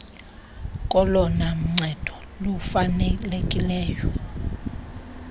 kolona ncedo lufanelekileyo